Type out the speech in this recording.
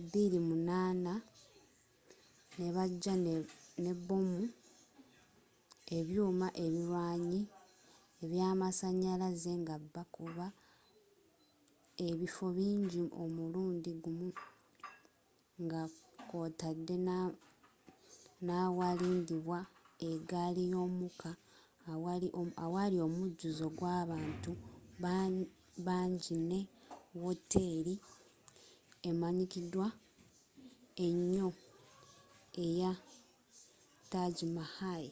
2008 nebajja ne bbomu ebyuma ebirwanyi eby'amasanyalaze nga bakuba ebifo bingi omulundi gumu nga kwootadde n'awalindibwa eggali y'omukka awali omujjuzo gw'abantu bangyine wooteri emmanyikiddwa enyo eys taj mahal